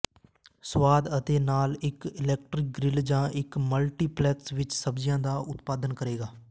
ਸਵਾਦ ਅਤੇ ਲਾਲ ਇੱਕ ਇਲੈਕਟ੍ਰਿਕ ਗਰਿੱਲ ਜਾਂ ਇੱਕ ਮਲਟੀਪਲੈਕਸ ਵਿੱਚ ਸਬਜ਼ੀਆਂ ਦਾ ਉਤਪਾਦਨ ਕਰੇਗਾ